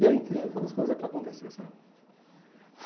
E é incrível quando as coisas é para acontecer, sabe?